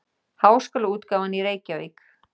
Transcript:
Háskólaútgáfan Reykjavík.